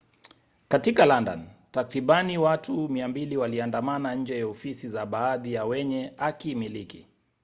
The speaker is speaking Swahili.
katika london takribani watu 200 waliandamana nje ya ofisi za baadhi ya wenye hakimiliki